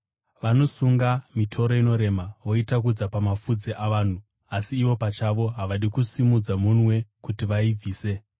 Vanosunga mitoro inorema voitakudza pamafudzi avanhu, asi ivo pachavo havadi kusimudza munwe kuti vaibvise.